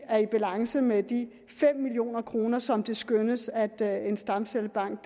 er i balance med de fem million kr som det skønnes at en stamcellebank